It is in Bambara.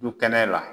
Du kɛnɛ la